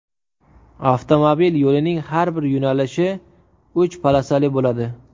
Avtomobil yo‘lining har bir yo‘nalishi uch polosali bo‘ladi.